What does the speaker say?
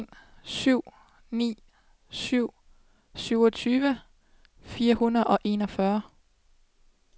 en syv ni syv syvogtyve fire hundrede og enogfyrre